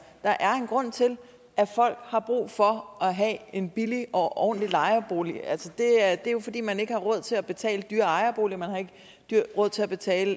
der er en grund til at folk har brug for at have en billig og ordentlig lejebolig det er jo fordi man ikke råd til at betale dyr ejerbolig man har ikke råd til at betale